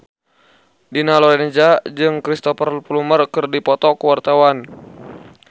Dina Lorenza jeung Cristhoper Plumer keur dipoto ku wartawan